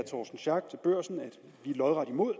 lodret imod